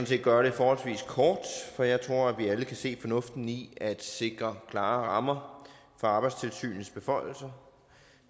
set gøre det forholdsvis kort for jeg tror vi alle kan se fornuften i at sikre klare rammer for arbejdstilsynets beføjelser